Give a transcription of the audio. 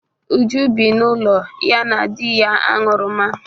Uju bi n'ụlọ ya na di ya aṅụrụma